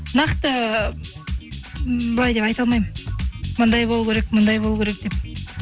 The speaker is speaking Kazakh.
нақты быйлай деп айта алмаймын мындай болу керек мындай болу керек деп